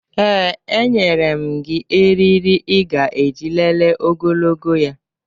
Ee, enyere m gị eriri ị ga-eji lelee ogologo ya